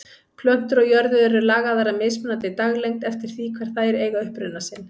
Plöntur á jörðu eru lagaðar að mismunandi daglengd eftir því hvar þær eiga uppruna sinn.